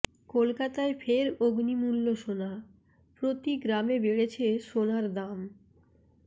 কলকাতায় ফের অগ্নিমূল্য সোনা প্রতি গ্রামে বেড়েছে সোনার দাম